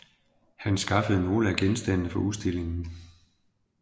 Han skaffede nogle af genstandene fra udstillingen